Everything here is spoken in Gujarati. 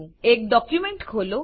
એક ડોક્યુંમેંટ ખોલો